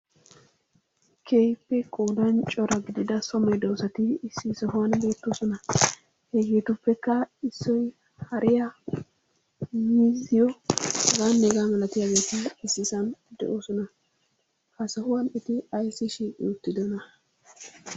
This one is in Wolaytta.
Keehippe qoodan cora gidida so medoosati issi sohuwan beettoosona. Hegeetuppekka issoy hariya, miizziyo, h.h.m issisan de'oosona. Ha sohuwan eti ayssi shiiqi uttidonaa?